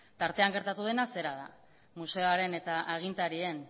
tartean gertatu dena zera da museoaren eta agintarien